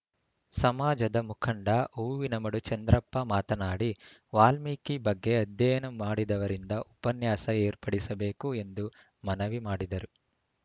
ಸಮಾಜದ ಮುಖಂಡ ಹೂವಿನಮಡು ಚಂದ್ರಪ್ಪ ಮಾತನಾಡಿ ವಾಲ್ಮೀಕಿ ಬಗ್ಗೆ ಅಧ್ಯಯನ ಮಾಡಿದವರಿಂದ ಉಪನ್ಯಾಸ ಏರ್ಪಡಿಸಬೇಕು ಎಂದು ಮನವಿ ಮಾಡಿದರು